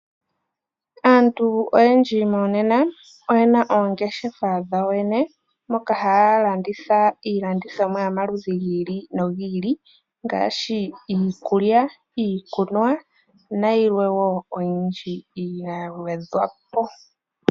Aantu oyendji monena oyena oongeshefa dhawo yene moka haa landitha iilandithomwa yomaludhi gi ili nogi ili ngaashi iikulya ,iikunwa nayilwe wo oyindji yagwedhwa po.